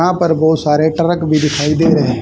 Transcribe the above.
हां पर बहोत सारे ट्रक भी दिखाई दे रहे--